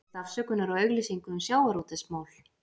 Biðst afsökunar á auglýsingu um sjávarútvegsmál